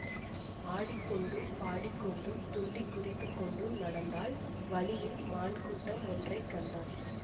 ஆடிக்கொண்டும் பாடிக்கொண்டும் துள்ளிக் குதித்து கொண்டும் நடந்தாள் வழியில் மான் கூட்டம் ஒன்றை கண்டாள்